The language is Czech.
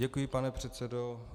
Děkuji, pane předsedo.